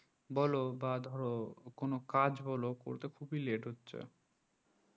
বলো বা ধরো কোনো কাজ হলো করতে খুবই late হচ্ছে